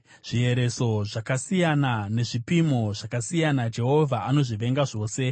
Zviereso zvakasiyana nezvipimo zvakasiyana Jehovha anozvivenga zvose.